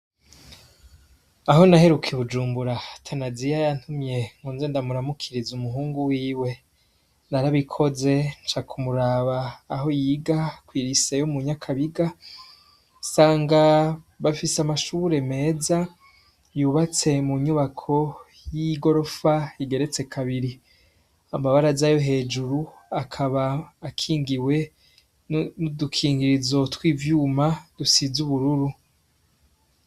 Aho naherukye ubujumbura atanaziya yantumye nku nze ndamuramukiriza umuhungu wiwe narabikoze nca kumuraba aho yiga kw'iriseyo mu nyakabiga sanga bafise amashubure meza yubatse mu nyubako y'igorofa igereze kabiri amabara z'ayo hejuru akaba akingiwe n'udukingirizotwa ivyuma dusize ubururu.